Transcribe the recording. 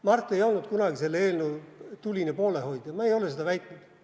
Mart ei olnud kunagi selle eelnõu tuline poolehoidja, ma ei ole seda väitnud.